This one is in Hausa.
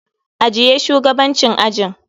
Ajiye shugabancin ajin.